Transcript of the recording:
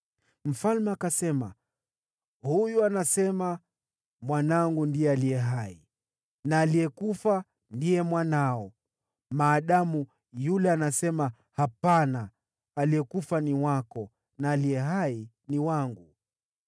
Mfalme akasema, “Huyu anasema, ‘Mwanangu ndiye aliye hai, na aliyekufa ndiye mwanao,’ maadamu yule anasema, ‘Hapana! Aliyekufa ni wako, na aliye hai ni wangu.’ ”